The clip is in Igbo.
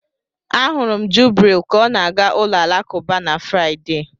Ahụrụ m Jubril ka ọ na-aga ụlọ alakụba na Fraịde.